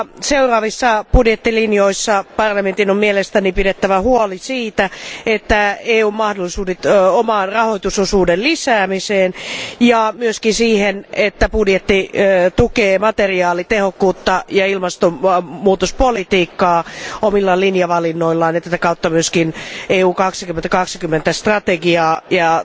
Seuraavissa budjettilinjoissa parlamentin on mielestäni pidettävä huoli siitä, että EUn mahdollisuudet oman rahoitusosuuden lisäämiseen ja myöskin siihen, että budjetti tukee materiaalitehokkuutta ja ilmastonmuutospolitiikkaa omilla linjavalinnoillaan, ja tätä kautta myöskin Eurooppa 2020 strategiaa ja